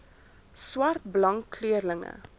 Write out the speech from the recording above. swart blank kleurling